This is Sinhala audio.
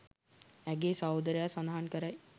ඇගේ සහෝදරයා සඳහන් කරයි